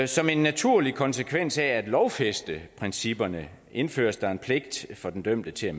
som en naturlig konsekvens af at lovfæste principperne indføres der en pligt for den dømte til